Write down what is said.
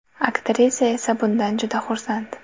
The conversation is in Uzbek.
Aktrisa esa bundan juda xursand.